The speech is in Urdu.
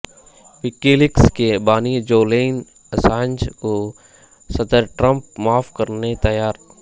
وکی لیکس کے بانی جولین اسانج کو صدرٹرمپ معاف کرنے تیار